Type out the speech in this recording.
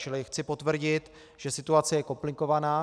Čili chci potvrdit, že situace je komplikovaná.